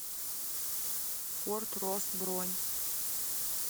форт росс бронь